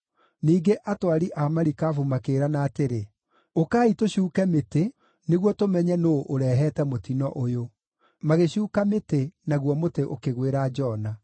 Ningĩ atwari a marikabu makĩĩrana atĩrĩ, “Ũkai tũcuuke mĩtĩ nĩguo tũmenye nũũ ũrehete mũtino ũyũ.” Magĩcuuka mĩtĩ naguo mũtĩ ũkĩgwĩra Jona.